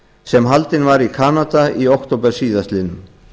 sem haldinn var í kanada í október síðastliðnum